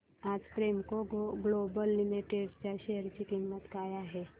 आज Premco global limited च्या share ची किंमत काय आहे